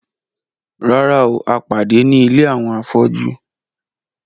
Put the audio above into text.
Rárá o, a pàdé ní ilé àwọn afọ́jú